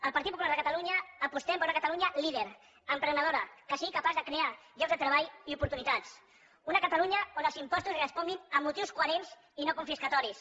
el partit popular de catalunya apostem per una catalunya líder emprenedora que sigui capaç de crear llocs de treball i oportunitats una catalunya on els impostos responguin a motius coherents i no confiscatoris